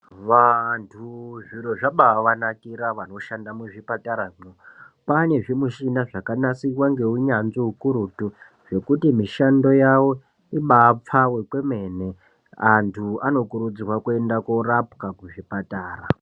Vantu zviro zvabavanakira vanoshanda muzvipataramwo. Kwane zvimushina zvakanasirwa ngeunyanzvi ukurutu, zvekuti mishando yavo ibapfave kwemene. Antu anokurudzirwa kuenda korapwa kuzvipatara.